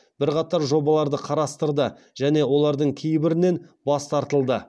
бірқатар жобаларды қарастырды және олардың кейбірінен бас тартылды